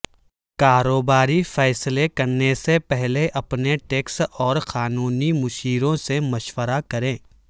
کاروباری فیصلے کرنے سے پہلے اپنے ٹیکس اور قانونی مشیروں سے مشورہ کریں